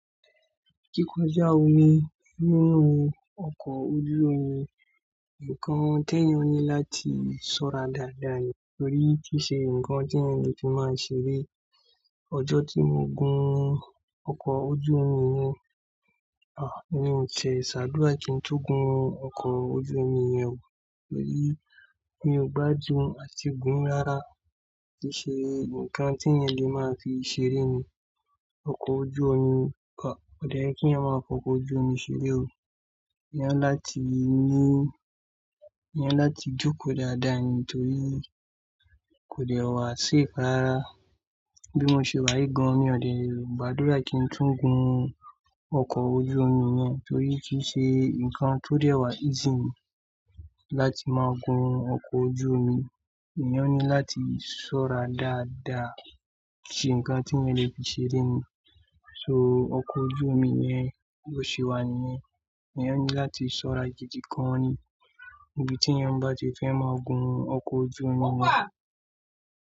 Kíkọjá omi nínú ọkọ̀ ojú omi nǹkan tẹ́ẹ̀ yẹ́n láti ṣọ́ra dáadáa nítorí kìí ṣe ǹkan tí ẹni ti máa ṣe rí. Ọjọ́ tí mo gùn ọkọ̀ ojú omi mi, à, èmi ń ṣe ṣàdúrà kí ń tún gùn ọkọ̀ ojú omi yẹn wò torí mi ò gbádùn àti gùn rárá. Kìí ṣe ǹkan tí ẹni le máa fi ṣe rí ni ọkọ̀ ojú omi. Kò, kò dẹ́rì kí ẹ máa fọkọ ojú omi ṣeré o. Èèyàn láti ní, èèyàn láti jókòó dáadáa nítorí kò dẹ́wà safe rarà. Bí mo ṣe wá yìí gan, mi ò lè gbàdúrà kí n tún gùn ọkọ̀ ojú omi yẹn torí kìí ṣe ǹkan tó dẹ́rà ìsìn láti máa gùn ọkọ̀ ojú omi. Èèyàn ní láti ṣọ́ra dáadáa. Kìí ṣe ǹkan tí ẹni le fi ṣeré ni. So ọkọ̀ ojú omi yẹn bó ṣe wà níyẹn. Èèyàn ní láti ṣọ́ra gidi gan níbi tí eyan bá ti fẹ́ máa gùn ọkọ̀ ojú omi yẹn.